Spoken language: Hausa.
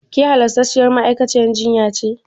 Ke halastarciyar ma'aikaciyar jinya ce?